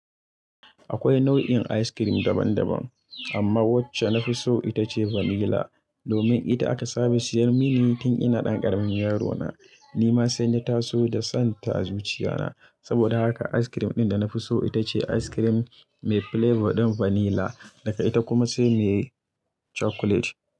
Akwai nau'in ice cream daban daban, amma wacce na fi so ita ce vanila. Domin ita aka saba siyar mini tun ina ɗan ƙaramin yaro na. Ni ma sai na taso da son ta a zuciya na. Saboda haka ice cream ɗin da na fi so ita ice cream mai flavour ɗin vanila. Daga ita kuma sai mai chocolate.